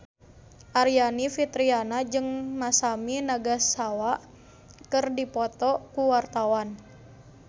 Aryani Fitriana jeung Masami Nagasawa keur dipoto ku wartawan